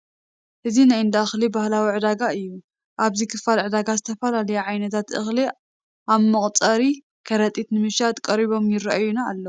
እዚ ናይ እንዳ እኽሊ ባህላዊ ዕዳጋ እዩ፡፡ ኣብዚ ክፋል ዕዳጋ ዝተፈላለዩ ዓይነት እኽሊ ኣብ መቋፀሪ ከረጢታት ንመሸጣ ቀሪቦም ይርአዩና ኣለዉ፡፡